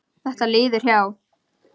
Þetta líður hjá.